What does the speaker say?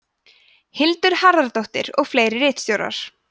hildur harðardóttir og fleiri ritstjórar